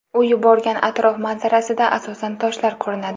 U yuborgan atrof manzarasida asosan toshlar ko‘rinadi.